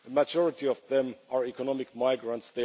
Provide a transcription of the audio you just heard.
The majority of them are economic migrants